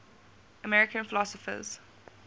american philosophers